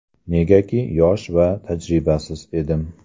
Negaki, yosh va tajribasiz edim.